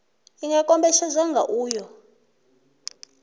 i nga kombetshedzwa kha uyo